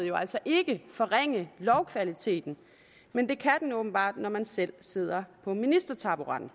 jo altså ikke forringe lovkvaliteten men det kan man åbenbart når man selv sidder på ministertaburetten